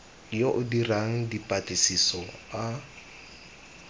yo o dirang dipatlisiso a